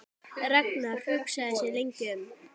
Ragnar hugsaði sig lengi um.